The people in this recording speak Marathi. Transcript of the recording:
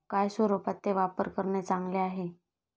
काय स्वरूपात ते वापर करणे चांगले आहे?